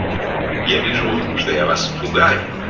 что я вас